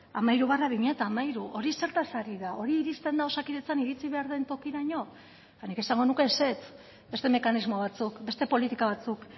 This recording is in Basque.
hamairu barra bi mila hamairu hori zertaz ari da hori iristen da osakidetzan iritsi behar den tokiraino nik esango nuke ezetz beste mekanismo batzuk beste politika batzuk